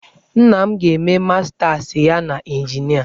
Nna m ga-eme mastas ya n'injinia.